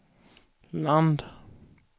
land